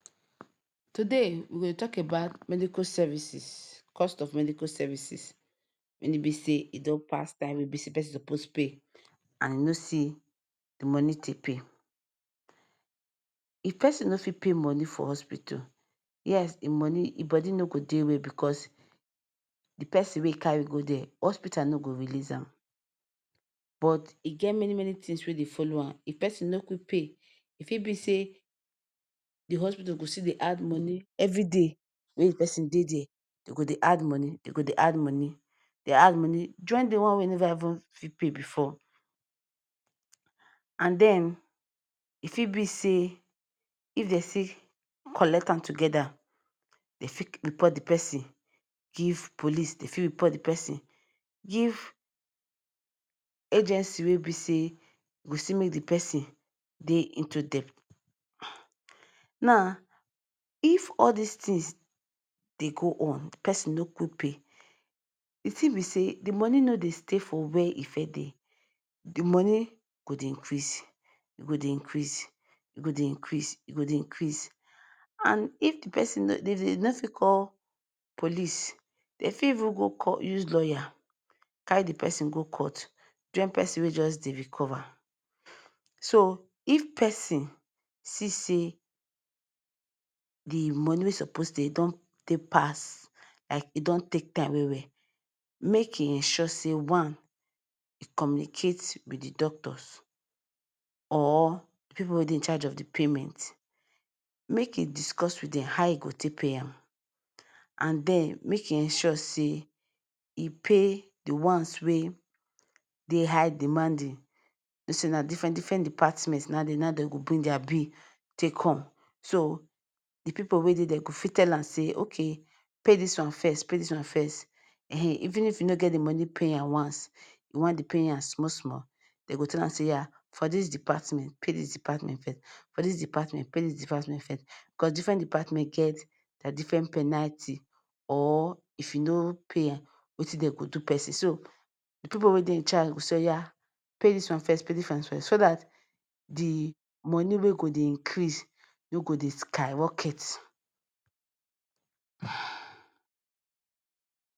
Today we go dey tok about medical services cost of medical services wen e bi say e don pass time wey be say pesin suppose pay. And you no see moni take pay. If pesin no fit pay moni for hospital, yes, em money im body no go dey well bicos di pesin wey e carry go dia, hospital too no go release am. But e get many many tins wey dey follow am if de pesin no quick pay. E fit be say di hospital go fit dey add moni every day wey di pesin dey dia. Dem go dey add moni, dey add moni join di one wey you never even fit pay bifor. And then, e fit be say if dem see say dem no fit collect am togeda, dem fit report di pesin give police. Dem fit still report di pesin give agency wey go make di pesin dey into debt. Now, if all dis tins dey go on, pesin no quick pay, di tin be say di moni no dey stay for wia e first dey. Di moni go dey increase. E go dey increase, e go dey increase, e go dey increase. And if di pesin dey no fit call police. Dem fit even go use lawyer carry di pesin go court join pesin wey just dey recover. So if pesin see say di moni wey suppose dey don take pass, like e don take time well well, make im ensure say one, em communicate wit di doctors or pipu wey dey in charge of di payment. Make im discuss wit dem how im go take pay am. And then make e ensure say im pay di ones wey dey high demanding. You know say na diffren different department na im dem go bring dia bill take come. So di pipu wey dey dia go fit tell am say, “Okay, pay dis one first. Pay dis one first.” um even if you no get di moni pay am once, you fit dey pay am small small. Dem go tell am say yes, for dis department, pay dis department fee. For dis department, pay dis department fee. Bicos diffren department get dea diffren penalty or if you no pay wetin dem go do person, So di pipu wey dey in charge go say, “Oya, pay dis one first, pay dis one first,” so dat di moni wey go dey increase no go dey skyrocket. um